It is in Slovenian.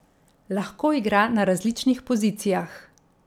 Lahko igra na različnih pozicijah.